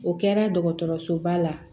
O kɛra dɔgɔtɔrɔsoba la